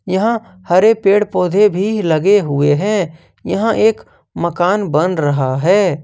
यहां हरे पेड़ पौधे भी लगे हुए हैं यहां एक मकान बन रहा है।